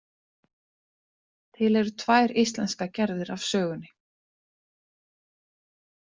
Til eru tvær íslenskar gerðir af sögunni.